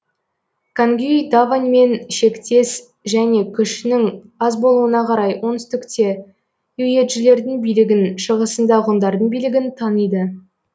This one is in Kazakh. кангюй даваньмен шектес және күшінің аз болуына қарай оңтүстікте юечжилердің билігін шығысында ғұндардың билігін таниды